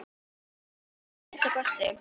Hingað til að minnsta kosti.